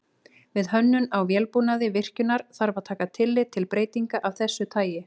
Við hönnun á vélbúnaði virkjunar þarf að taka tillit til breytinga af þessu tagi.